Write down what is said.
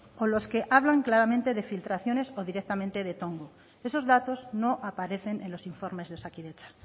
o las que hablan claramente de infiltraciones o directamente de tongo esos datos no aparecen en los informes de osakidetza